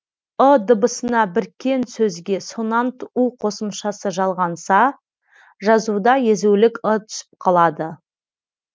ы дыбысына біркен сөзге сонант у қосымшасы жалғанса жазуда езулік ы түсіп қалады